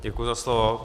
Děkuji za slovo.